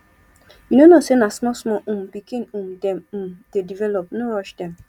you no know sey na smallsmall um pikin um dem um dey develop no rush dem